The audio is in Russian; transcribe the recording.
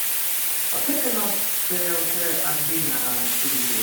поставь канал тлц аш ди на телевизоре